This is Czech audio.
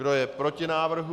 Kdo je proti návrhu?